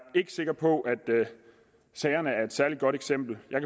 ikke sikker på at sagerne er et særlig godt eksempel jeg